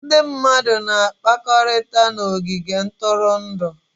Ndị mmadụ na-akpakọrịta na ogige ntụrụndụ.